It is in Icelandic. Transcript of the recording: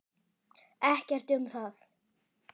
Ekkert um það.